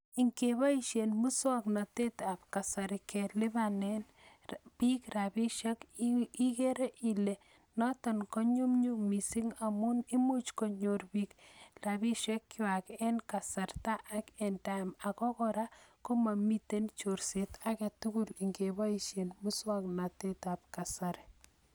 Ngeboishe muswaknatet ab kasari kelebanen bik rapishek ikere Ile notok konyumyum mising amu imuch konyorbiik rapishek kwak eng kasarta ak eng sait ako kora komamiten chorset age tugul ngeboishe muswaknatet ab kasari